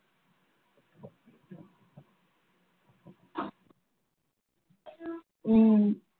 ஹம்